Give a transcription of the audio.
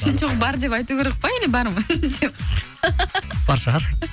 жоқ бар деп айту керек пе әлде бар ма деп бар шығар